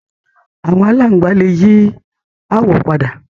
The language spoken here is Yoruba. Àwọn aláǹgbá lè yí àwọ̀ padà